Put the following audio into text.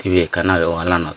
tv ekan aagay wall lanot.